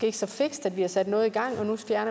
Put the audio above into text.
er så fikst at vi har sat noget i gang